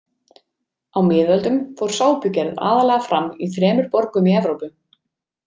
Á miðöldum fór sápugerð aðallega fram í þremur borgum í Evrópu.